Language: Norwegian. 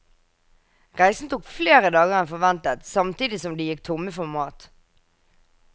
Reisen tok flere dager en forventet samtidig som de gikk tomme for mat.